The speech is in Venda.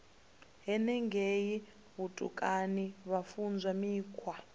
henengei vhutukani vha funzwa mikhwa